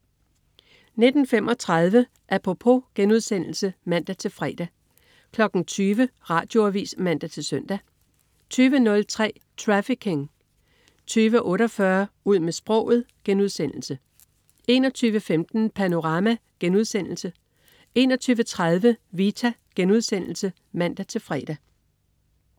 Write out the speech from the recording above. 19.35 Apropos* (man-fre) 20.00 Radioavis (man-søn) 20.03 Trafficking 20.48 Ud med sproget* 21.15 Panorama* 21.30 Vita* (man-fre)